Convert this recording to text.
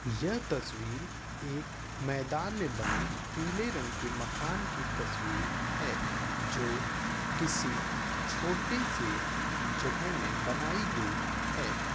यह तस्वीर एक मैदान में बने पीले रंग की मकान की तस्वीर है जो किसी छोटे-से जगह में बनाई गई है।